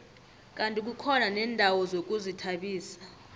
kandi kukhona neendawo zokuzithabisa